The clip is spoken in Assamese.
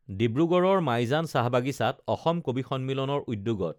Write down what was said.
ডিব্ৰুগড়ৰ মাইজান চাহবাগিচাত অসম কবি সন্মিলনৰ উদ্যোগত